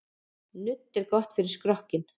Nudd er gott fyrir skrokkinn.